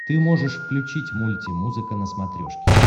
ты можешь включить мульти музыка на смотрешке